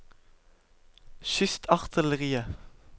kystartilleriet